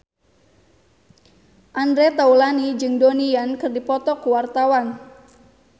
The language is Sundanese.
Andre Taulany jeung Donnie Yan keur dipoto ku wartawan